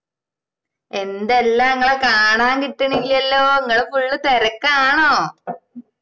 എന്തെല്ലാ ഇങ്ങളെ കാണാൻ കിട്ടണില്ലല്ലോ ഇങ്ങള് Full തിരക്കാണോ